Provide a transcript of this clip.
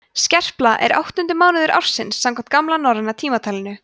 skerpla er áttundi mánuður ársins samkvæmt gamla norræna tímatalinu